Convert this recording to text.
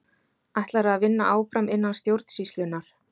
Ætlarðu að vinna áfram innan stjórnsýslunnar?